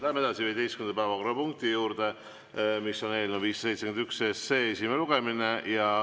Läheme 15. päevakorrapunkti juurde: eelnõu 571 esimene lugemine.